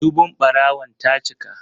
Dubun ɓarawon ta cika.